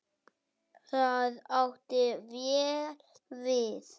Það átti vel við.